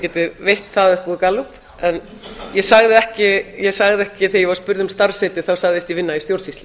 getum veitt það upp úr gallup en ég sagði ekki þegar ég var spurð um starfsheiti þá sagðist ég vinna í stjórnsýslu